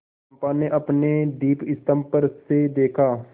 चंपा ने अपने दीपस्तंभ पर से देखा